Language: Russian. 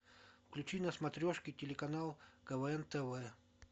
включи на смотрешке телеканал квн тв